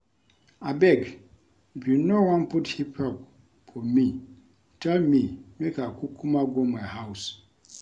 Abeg if you no wan put hip hop for me tell me make I kukuma go my house